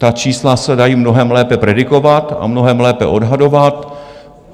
Ta čísla se dají mnohem lépe predikovat a mnohem lépe odhadovat.